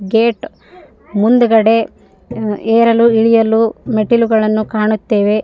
Gate ಮುಂದುಗಡೆ ಏರಲು ಇಳಿಯಲು ಮೆಟ್ಟಿಲುಗಳನ್ನು ಕಾಣುತ್ತೇವೆ.